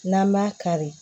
N'an m'a kari